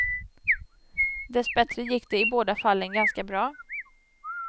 Dessbättre gick det i båda fallen ganska bra.